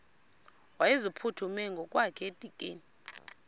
wayeziphuthume ngokwakhe edikeni